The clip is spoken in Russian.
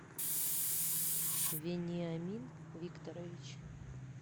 вениамин викторович